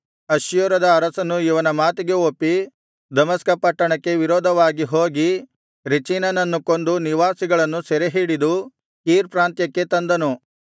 ಅಶ್ಶೂರದ ಅರಸನು ಇವನ ಮಾತಿಗೆ ಒಪ್ಪಿ ದಮಸ್ಕ ಪಟ್ಟಣಕ್ಕೆ ವಿರೋಧವಾಗಿ ಹೋಗಿ ರೆಚೀನನನ್ನು ಕೊಂದು ನಿವಾಸಿಗಳನ್ನು ಸೆರೆಹಿಡಿದು ಕೀರ್ ಪ್ರಾಂತ್ಯಕ್ಕೆ ತಂದನು